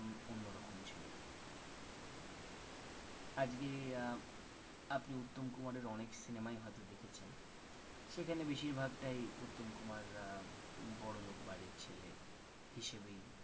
আজকে আপনি উত্তম কুমারের অনেক cinema য় হয়তো দেখেছেন সেখানে বেশিরভাগটাই উত্তম কুমার অ্যাঁ বড়লোক বাড়ির ছেলে হিসেবেই